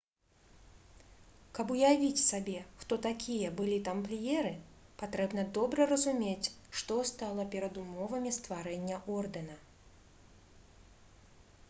каб уявіць сабе хто такія былі тампліеры патрэбна добра разумець што стала перадумовамі стварэння ордэна